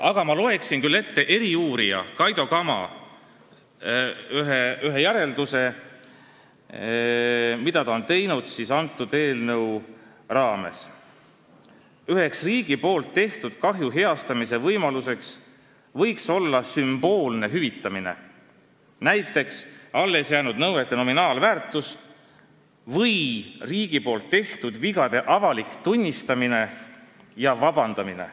Aga ma annaksin küll edasi eriuurija Kaido Kama ühe arvamuse selle eelnõu kohta: üks riigi tehtud kahju heastamise võimalus võiks olla vara sümboolne hüvitamine, võttes aluseks näiteks allesjäänud nõuete nominaalväärtuse, või siis riigi tehtud vigade avalik tunnistamine ja vabandamine.